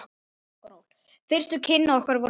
Fyrstu kynni okkar voru góð.